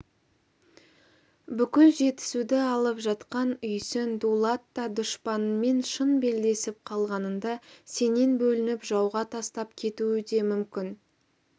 бүкіл жетісуды алып жатқан үйсін дулат та дұшпаныңмен шын белдесіп қалғаныңда сенен бөлініп жауға тастап кетуі де мүмкін